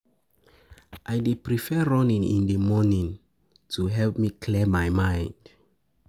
I dey prefer running in running in the morning to help me clear my mind.